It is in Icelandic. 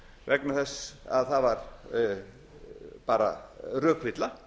vegna þess að það var bara rökvilla